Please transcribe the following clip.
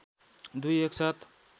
दुई एक साथ